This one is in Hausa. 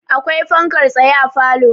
akwai fankar tsaye a falo